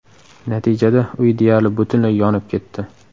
Natijada uy deyarli butunlay yonib ketdi.